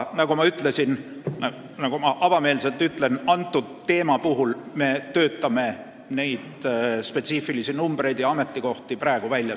Aga ma avameelselt ütlen, et me töötame neid spetsiifilisi arve ja ametikohti välja.